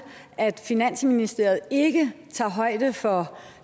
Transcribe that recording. at finansministeriet ikke tager højde for